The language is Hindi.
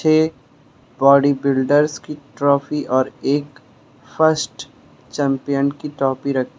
छे बॉडीबिल्डर्स की ट्रॉफी और एक फर्स्ट चैंपियन की ट्रॉफी रख --